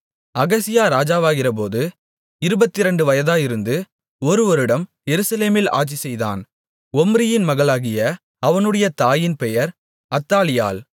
அகசியா ராஜாவாகிறபோது இருபத்திரண்டு வயதாயிருந்து ஒரு வருடம் எருசலேமில் ஆட்சிசெய்தான் ஒம்ரியின் மகளாகிய அவனுடைய தாயின் பெயர் அத்தாலியாள்